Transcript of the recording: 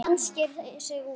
Hvaða land sker sig úr?